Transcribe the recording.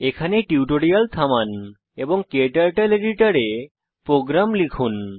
এখানে টিউটোরিয়াল থামান এবং ক্টার্টল এডিটর এ প্রোগ্রাম লিখুন